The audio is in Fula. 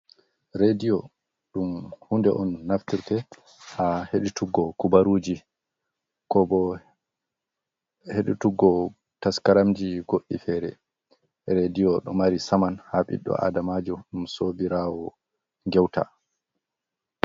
Rediyo ɗum hunde on naftirte ha heɗutuggo kubaruji ko bo heɗutuggo taskaramji goɗɗi fere. Rediyo ɗo mari saman ha ɓiɗɗo Adamajo ɗum sobirawo geuta.